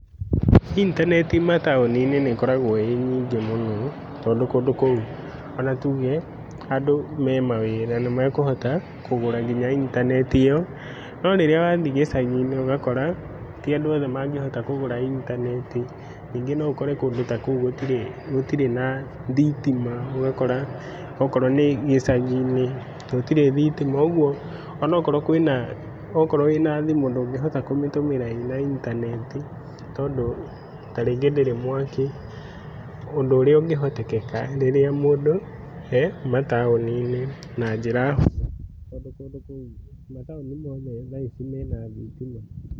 Intanenti mataũni-inĩ nĩĩokoragwo ĩnyingĩ mũno tondũ ona kũndũ kũu tuge andũ me mawĩra nĩmakũhota kũgũra nginya intanenti ĩo. No rĩrĩa wathiĩ gĩcagi ũgakora tiandũ othe mangĩhota kũgũra intanenti. Nyingĩ noũkore gũtirĩ gũtirĩ na thitima. ũgakora okorwo nĩ icagi-inĩ gũtirĩ thitima. Kuogwo onokorwo kwĩna okorwo wĩna thimũ ndũngĩhota kũmĩtũmĩra ĩna intanenti tondũ tarĩngĩ ndĩrĩ mwaki, ũndũ ũrĩa ũngĩhotekeka mataũninĩ na njĩra hũthũ tondũ kũndũ kũu mataũni mena thitima.